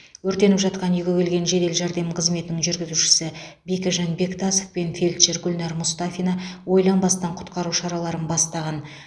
өртеніп жатқан үйге келген жедел жәрдем қызметінің жүргізушісі бекежан бектасов пен фельдшер гүлнар мұстафина ойланбастан құтқару шараларын бастаған